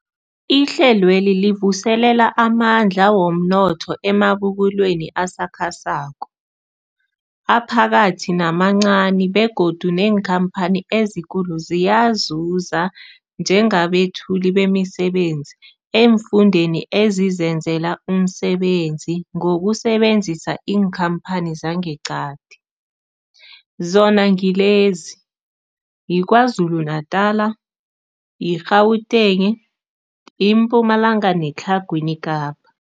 Ihlelweli livuselela amandla womnotho emabubulweni asakhasako, aphakathi namancani begodu neenkhamphani ezikulu ziyazuza njengabethuli bemisebenzi eemfundeni ezizenzela umsebenzi ngokusebenzisa iinkhamphani zangeqadi, zona ngilezi, yiKwaZulu-Natala, i-Gauteng, iMpumalanga neTlhagwini Kapa.